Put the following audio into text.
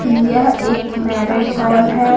यह एक marriage hall है।